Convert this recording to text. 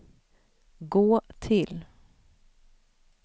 gå till